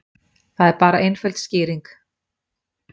Það er bara einföld skýring